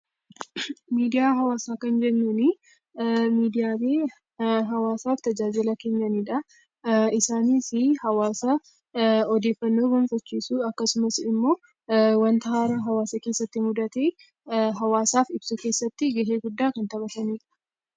Miidiyaa hawwaasaa kan jennuun Miidiyaalee hawwaasaaf tajaajila kennanidha. Isaanis hawwaasaaf odeeffannoo fichiisuu yookaan immoo wanta haaraa hawwaasa keessatti mudate hawwaasaaf ubsuu keessatti gahee guddaa kan taphatanidha.